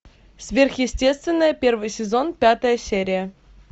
сверхъестественное первый сезон пятая серия